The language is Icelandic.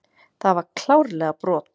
Það var klárlega brot.